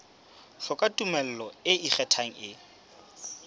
hloka tumello e ikgethang e